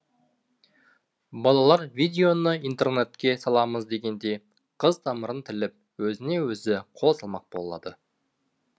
балалар видеоны интернетке саламыз дегенде қыз тамырын тіліп өзіне өзі қол салмақ болады